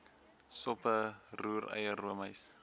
soppe roereier roomys